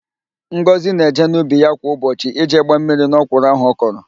Ngọzị na-eje n'ubi ya kwa ụbọchị ije gbaa mmiri n'ọkwụrụ ahụ ọ kọrọ.